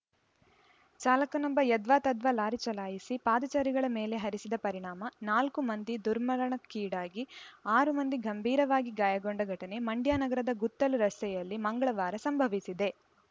ಚಾಲಕನೊಬ್ಬ ಯದ್ವಾತದ್ವಾ ಲಾರಿ ಚಲಾಯಿಸಿ ಪಾದಚಾರಿಗಳ ಮೇಲೆ ಹರಿಸಿದ ಪರಿಣಾಮ ನಾಲ್ಕು ಮಂದಿ ದುರ್ಮರಣಕ್ಕೀಡಾಗಿ ಆರು ಮಂದಿ ಗಂಭೀರವಾಗಿ ಗಾಯಗೊಂಡ ಘಟನೆ ಮಂಡ್ಯ ನಗರದ ಗುತ್ತಲು ರಸ್ತೆಯಲ್ಲಿ ಮಂಗಳವಾರ ಸಂಭವಿಸಿದೆ